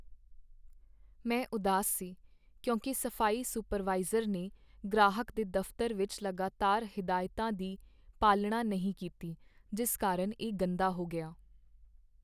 ਮੈਂ ਉਦਾਸ ਸੀ ਕਿਉਂਕਿ ਸਫ਼ਾਈ ਸੁਪਰਵਾਈਜ਼ਰ ਨੇ ਗ੍ਰਾਹਕ ਦੇ ਦਫਤਰ ਵਿਚ ਲਗਾਤਾਰ ਹਦਾਇਤਾਂ ਦੀ ਪਾਲਣਾ ਨਹੀਂ ਕੀਤੀ ਜਿਸ ਕਾਰਨ ਇਹ ਗੰਦਾ ਹੋ ਗਿਆ।